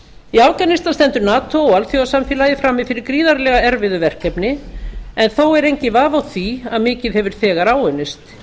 í afganistan stendur nato og alþjóðasamfélagið frammi fyrir gríðarlega erfiðu verkefni en þó er enginn vafi á því að mikið hefur þegar áunnist